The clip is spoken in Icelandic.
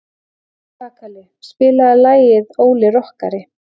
Kakali, spilaðu lagið „Óli rokkari“.